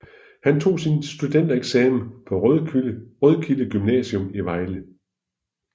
Han tog sin studentereksamen på Rødkilde Gymnasium i Vejle